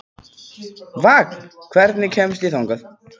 Vagn, hvernig kemst ég þangað?